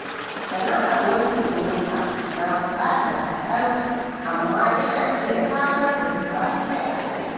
Sana'ar wankin mota na buƙatar kaɗan amma yana iya samar da riba akai-akai.